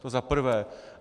To za prvé.